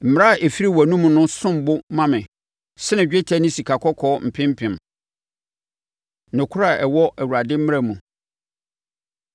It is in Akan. Mmara a ɛfiri wʼanomu no som bo ma me sene dwetɛ ne sikakɔkɔɔ mpempem. Nokorɛ A Ɛwɔ Awurade Mmara Mu